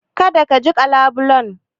Kada ka jiƙa labulen.